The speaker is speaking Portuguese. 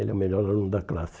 Ele é o melhor aluno da classe.